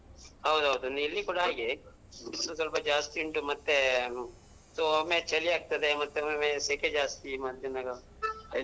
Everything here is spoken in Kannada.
ಹೌದ್ ಹೌದು ಇಲ್ಲಿ ಕೂಡ ಹಾಗೆ. ಬಿಸಿಲು ಸೊಲ್ಪ ಜಾಸ್ತಿ ಉಂಟು ಮತ್ತೆ so ಒಮ್ಮೆ ಚಳಿ ಆಗ್ತದೆ ಮತ್ತೆ ಒಮ್ಮೊಮ್ಮೆ ಸೆಕೆ ಜಾಸ್ತಿ ಮತ್ ಎನಾರು ಹೆಚ್ಚು.